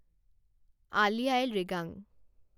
আলি আঃয়ে লৃগাং